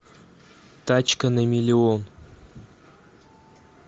тачка на миллион